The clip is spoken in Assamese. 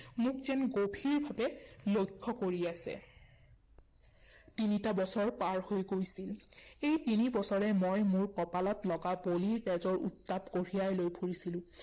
মোক যেন গভীৰভাৱে লক্ষ্য় কৰি আছে। তিনিটা বছৰ পাৰ হৈ গৈছিল। এই তিনি বছৰে মই মোৰ কপালত লগা বলিৰ তেজৰ উত্তাপ কঢ়িয়াই লৈ ফুৰিছিলে৷